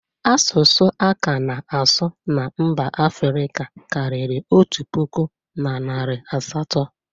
Asụsụ a ka na-asụ na mba Afrika kariri otu pụkụ, na narị asatọ.